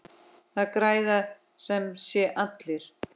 Það græða sem sé allir.